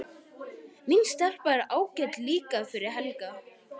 Hin stelpan er ágæt líka fyrir Helga.